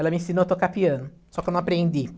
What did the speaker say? Ela me ensinou a tocar piano, só que eu não aprendi.